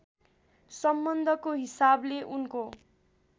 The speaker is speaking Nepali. सम्बन्धको हिसाबले उनको